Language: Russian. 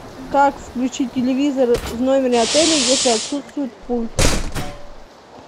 как включить телевизор в номере отеля если отсутствует пульт